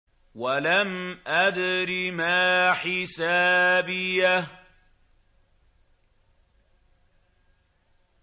وَلَمْ أَدْرِ مَا حِسَابِيَهْ